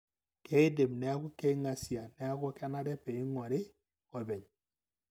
keidim niaku keingasia, niaku kenare peminguari openy.